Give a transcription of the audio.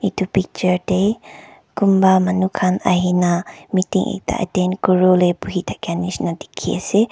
itu picture teh kunba manu khan ahina meeting ekta attend kuri wole buhi thakia nishina dikhi ase.